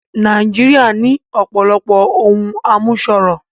Nàìjíríà ní ọ̀pọ̀lọpọ̀ ohun àmúṣọrọ̀